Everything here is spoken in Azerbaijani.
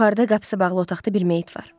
Yuxarıda qapısı bağlı otaqda bir meyit var.